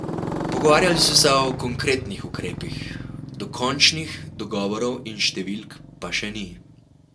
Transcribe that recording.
Pogovarjali so se o konkretnih ukrepih, dokončnih dogovorov in številk pa še ni.